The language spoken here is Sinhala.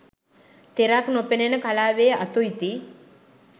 තෙරක් නොපෙනෙන කලාවේ අතු ඉති